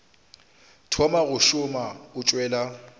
thoma go šoma o tšwela